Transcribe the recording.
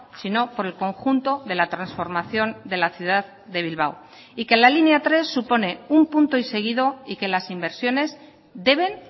sino por el conjunto de la transformación de la ciudad de bilbao y que la línea tres supone un punto y seguido y que las inversiones deben